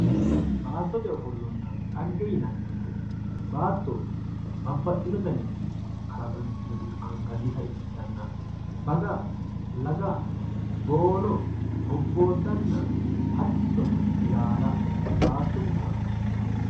baattote ofollonna xagge yinanni woyiite baatto babbaxxino garinni kalaqantinoti qaangannita ikkitanna baga Laga boono bobbooddanna hattono ilaala baattote kalaqooti yinanni